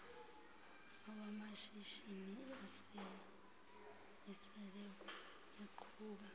lwamashishini asele eqhuba